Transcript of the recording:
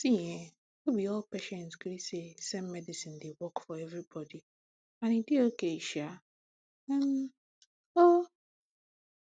see ehnno be all patients gree say same medicine dey work for everybody and e dey okay sha um oo